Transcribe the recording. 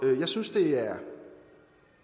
jeg synes det er